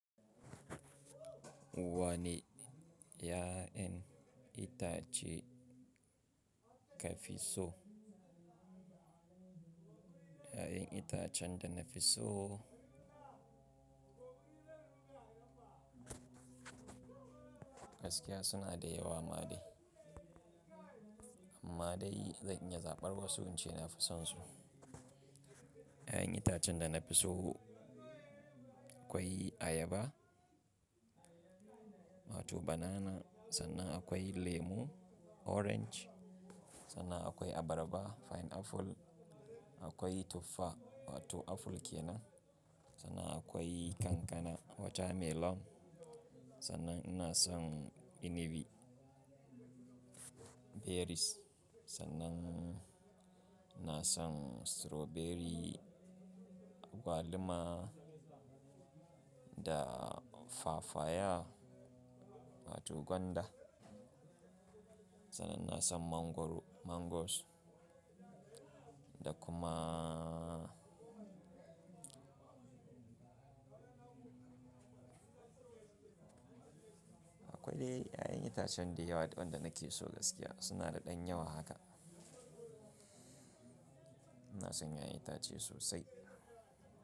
Wane ya'yan itace ka fi so? Ya'yan itacen da na fi so gaskiya suna da yawa ma dai. Amma dai zan iya zaɓar wasu ince na fi sonsu. Ya'yan itacen da na fi so akwai ayaba, wato banana. Sannan akwai lemu, orange. Sannan akwai abarba, fine apple. Akwai tuffa, wato apple kenan. Sannan akwai kankana, water melon. Sannan ina son inibi, berries. Sannan ina son strawberry, agwaluma da fafaya, wato gwanda. Sannan ina son mangoro, mangoes da kuma akwai dai ya'yan itacen da yawa waɗanda nake so gaskiya. Suna da ɗan yawa haka. Ina son ya'yan itace sosai.